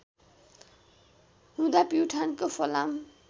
हुँदा प्युठानको फलाम